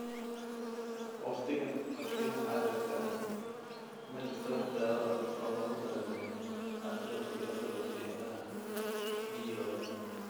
Waqtigan xaadirka ah ma jirto wax daawo ah oo loogu talagalay atrophy atrophy indhaha (DOA).